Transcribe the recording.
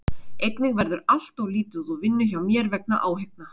Einnig verður allt of lítið úr vinnu hjá mér vegna áhyggna.